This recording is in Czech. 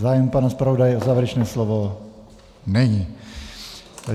Zájem pana zpravodaje o závěrečné slovo není.